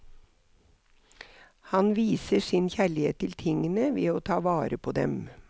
Han viser sin kjærlighet til tingene ved å ta vare på dem.